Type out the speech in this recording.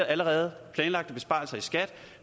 allerede planlagte besparelser i skat